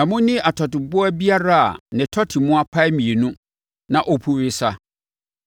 Na monni atɔteboa biara a ne tɔte mu apae mmienu na ɔpu wesa.